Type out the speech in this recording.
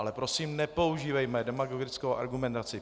Ale prosím, nepoužívejme demagogickou argumentaci.